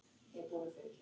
Ólöf var einstök kona.